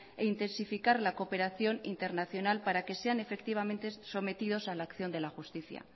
e intensificar la cooperación internacional para que sean efectivamente sometidos a la acción de la justicia